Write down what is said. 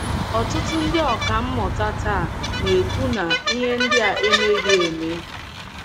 Ọtụtụ ndị ọkà mmụta taa na - ekwu na ihe ndị a emeghị eme.